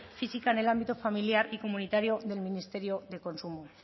física en el ámbito familiar y comunitario del ministerio de consumo